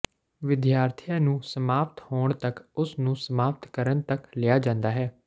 ਵਿਦਿਆਰਥੀਆਂ ਨੂੰ ਸਮਾਪਤ ਹੋਣ ਤੱਕ ਉਸ ਨੂੰ ਸਮਾਪਤ ਕਰਨ ਤੱਕ ਲਿਆ ਜਾਂਦਾ ਹੈ